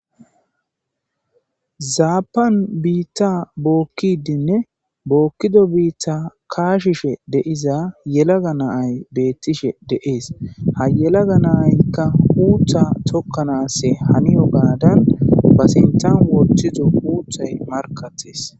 zaapan biitta bookkidinne bookkido biitta kaashishe deiza yelaga naay beettishe deees ha yelaga naaykka uutha tokkanasse haniyo gaadan ba sintan woththido uuthay markattes